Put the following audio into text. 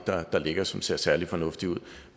der ligger som ser særlig fornuftigt ud